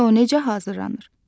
Və o necə hazırlanır?